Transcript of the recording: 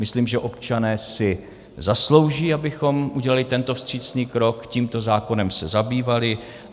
Myslím, že občané si zaslouží, abychom udělali tento vstřícný krok, tímto zákonem se zabývali.